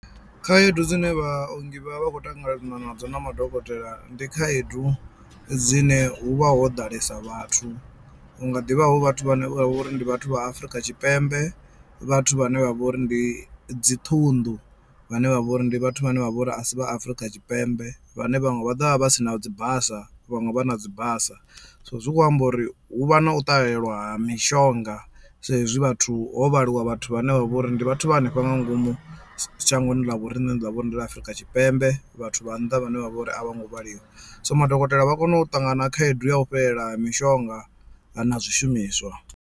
Khaedu dzine vhaongi vha vha vha khou ṱangana nadzo na madokotela ndi khaedu dzine hu vha ho ḓalesa vhathu hu nga ḓivha hu vhathu vhane vha vhori ndi vhathu vha Afrika Tshipembe, vhathu vhane vha vho uri ndi dzi ṱhunḓu vhane vha vho uri ndi vhathu vhane vha vhori asi vha Afrika Tshipembe vhane vhaṅwe vha ḓovha vha vha si na dzi basa vhaṅwe vha na dzi basa. So zwi kho amba uri hu vha na u ṱahelwa ha mishonga sa ezwi vhathu ho vhaliwa vhathu vhane vha vho ri ndi vhathu vha hanefha nga ngomu shangoni ḽa vhoriṋe ḽine ḽa vha uri ndi ḽa Afrika Tshipembe vhathu vha nnḓa vhane vha vha uri a vhongo vhaliwa so madokotela vha kono u ṱangana khaedu ya u fhelelwa ha mishonga na zwishumiswa.